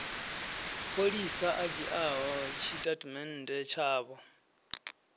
pholisa a dzhiaho tshitatamennde tshavho